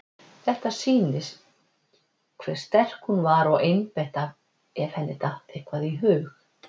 Þetta sýnir hve sterk hún var og einbeitt ef henni datt eitthvað í hug.